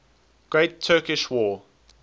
great turkish war